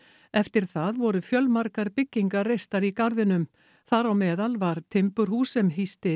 eftir það voru fjölmargar byggingar reistar í garðinum þar á meðal var timburhús sem hýsti